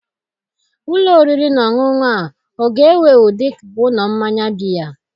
Ụlọ oriri na ọṅụṅụ ọ ga-ewu ewu dị ka ụlọ mmanya biya?